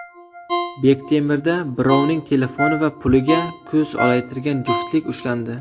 Bektemirda birovning telefoni va puliga ko‘z olaytirgan juftlik ushlandi.